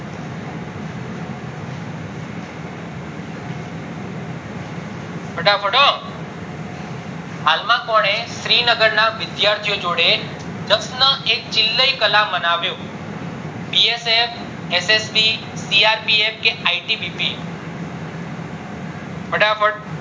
માં કોને શ્રીનગર ના વિષયથી ઓ જોડે પ્રશ્ન એ ચિલ્લય કલા બનાવ્યો BSF, SSB, CRPF કે ITMP ફટાફટ